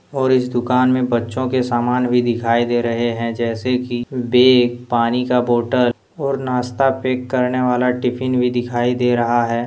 और इस दुकान में बच्चों के सामान भी दिखाई दे रहे हैं जैसे कि बैग पानी का बोतल और नाश्ता पैक करने वाला टिफिन भी दिखाई दे रहा है।